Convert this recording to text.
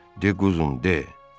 De quzum, de.